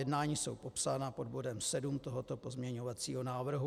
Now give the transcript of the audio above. Jednání jsou popsána pod bodem 7 tohoto pozměňovacího návrhu.